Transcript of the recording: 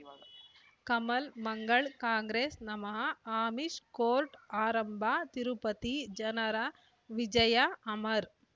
ಕಮಲ್ ಮಂಗಳ್ ಕಾಂಗ್ರೆಸ್ ನಮಃ ಅಮಿಷ್ ಕೋರ್ಟ್ ಆರಂಭ ತಿರುಪತಿ ಜನರ ವಿಜಯ ಅಮರ್